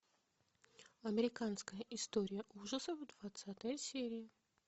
американская история ужасов двадцатая серия